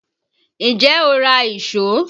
Ǹjẹ́ o ra ìṣó?